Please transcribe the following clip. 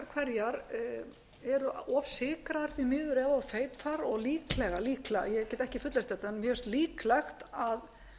hverjar eru of sykraðar því miður eða of feitar og líklega ég get ekki fullyrt þetta en mér finnst líklegt að